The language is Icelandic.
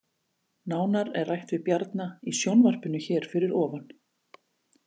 Nánar er rætt við Bjarna í sjónvarpinu hér fyrir ofan